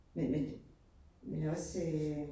Men men men også øh